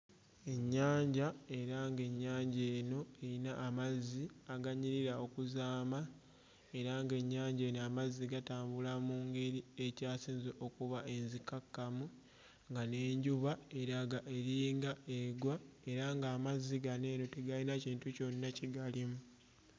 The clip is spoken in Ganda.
Ennyanja era ng'ennyanja eno eyina amazzi aganyirira okuzaama era ng'ennyanja eno emazzi gatambula mu ngeri ekyasinze okuba enzikakkamu nga n'enjuba eraga eringa egwa era ng'amazzi gano eno tegayina kintu kyonna kigalimu.